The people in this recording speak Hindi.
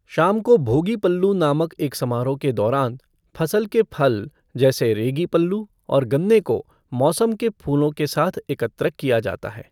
शाम को भोगी पल्लू नामक एक समारोह के दौरान, फसल के फल जैसे रेगी पल्लू और गन्ने को मौसम के फूलों के साथ एकत्र किया जाता है।